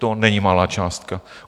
To není malá částka.